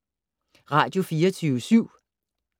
Radio24syv